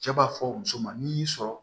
Cɛ b'a fɔ muso ma n'i y'i sɔrɔ